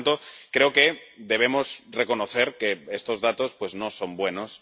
Por lo tanto, creo que debemos reconocer que estos datos no son buenos.